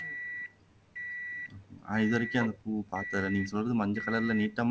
நான் இதுவரைக்கும் அந்த பூவை பாத்ததில்லை நீங்க சொல்றது மஞ்சள் கலர்ல நீட்டமா